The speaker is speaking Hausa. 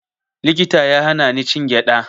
Likita ya hana ni cin gyaɗa